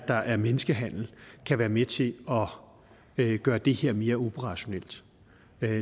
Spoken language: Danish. der er menneskehandel kan være med til at gøre det her mere operationelt